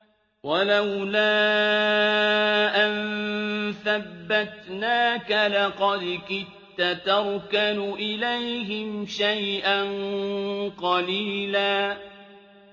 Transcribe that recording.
وَلَوْلَا أَن ثَبَّتْنَاكَ لَقَدْ كِدتَّ تَرْكَنُ إِلَيْهِمْ شَيْئًا قَلِيلًا